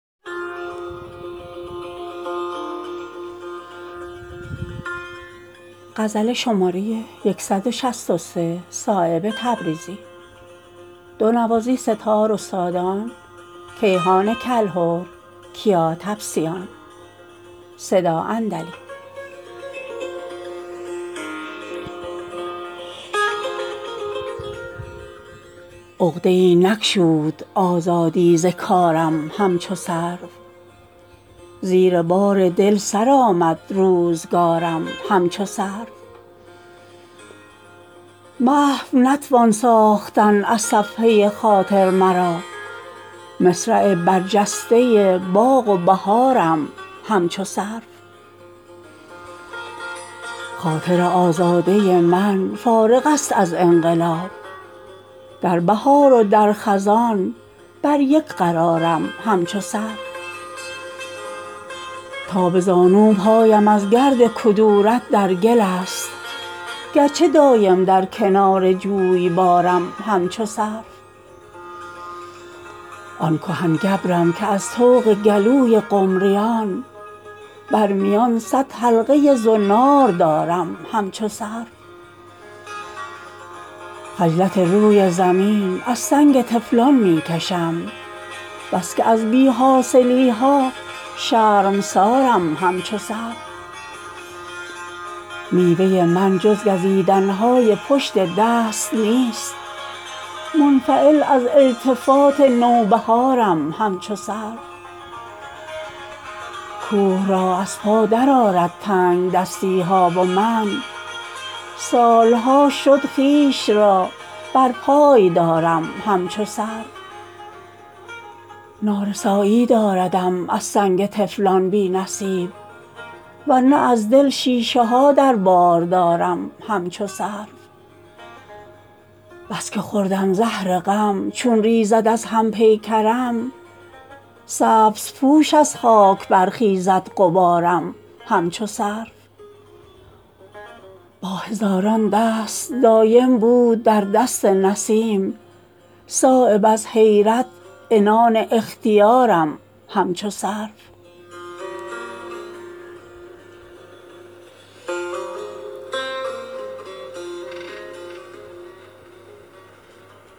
ای حسن تو برق خانمان ها عشق تو دلیل آسمان ها عشق تو نگارخانه دل سودای تو سرنوشت جان ها در وصف رخ تو بلبلان را خون می چکد از سر زبان ها شد دسته گل ز تازه رویی بر سرو بلندت آشیان ها از خجلت روی لاله رنگت شبنم زده گشت بوستان ها پیچد چو زبان غنچه بر هم پیش تو زبان خوش بیان ها ده در عوض دری گشایند دست است زبان بی زبان ها زان قامت چون خدنگ پیچید چون مار به خویشتن سنان ها بر شیر شده است چون قفس تنگ زان خوی پلنگ نیستان ها چون رشته سبحه پرگره شد زنار ز شرم این میان ها از سر نرود به مرگ سودا از دور نیفتد آسمان ها